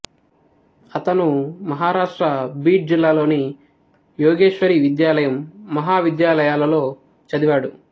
అతను మహారాష్ట్ర బీడ్ జిల్లాలోని యోగేశ్వరి విద్యాలయం మహావిద్యాలయాలలో చదివాడు